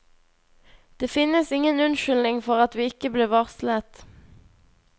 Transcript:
Det finnes ingen unnskyldning for at vi ikke ble varslet.